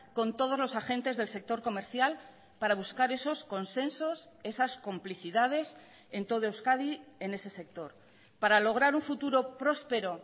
con todos los agentes del sector comercial para buscar esos consensos esas complicidades en todo euskadi en ese sector para lograr un futuro próspero